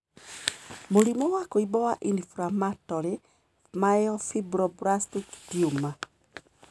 Mũrimũ wa kũimba wa inflammatory myofibroblastic tumor